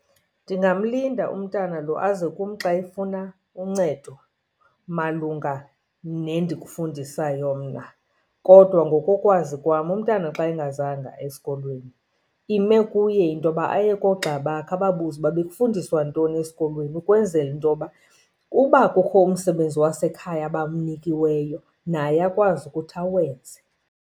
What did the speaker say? Ndingamlinda umntana lo aze kum xa efuna uncedo malunga nendikufundisayo mna. Kodwa ngokokwazi kwam umntana xa engazanga esikolweni ime kuye into yoba aye koogxa bakhe ababuze uba bekufundiswa ntoni esikolweni, ukwenzela into yoba uba kukho umsebenzi wasekhaya abawunikiweyo naye akwazi ukuthi awenze.